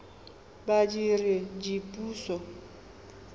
badiredipuso